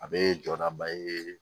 A bɛ jɔɔnaba ye